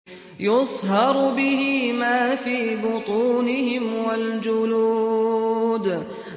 يُصْهَرُ بِهِ مَا فِي بُطُونِهِمْ وَالْجُلُودُ